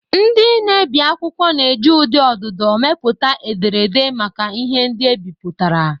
Ndị na-ebi akwụkwọ na-eji ụdị ọdụdọ mepụta ederede maka ihe ndị ebipụtara.